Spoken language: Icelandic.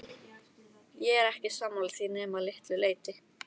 Ég er ekki sammála því nema að litlu leyti.